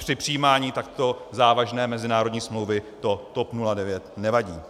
Při přijímání takto závažné mezinárodní smlouvy to TOP 09 nevadí.